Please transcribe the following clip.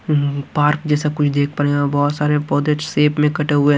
Park जैसा कुछ देख पा रहे हैं बहोत सारे पौधे शेप में कटे हुए हैं।